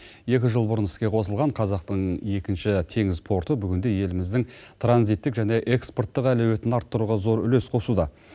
екі жыл бұрын іске қосылған қазақтың екінші теңіз порты бүгінде еліміздің транзиттік және экспорттық әлеуетін арттыруға зор үлес қосуда